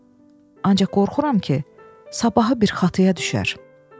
Ancaq qorxuram ki, sabahı bir xataya düşər.